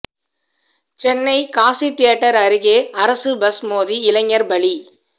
Chennai Kasi theatre அருகே அரசு bus மோதி இளைஞர் பலி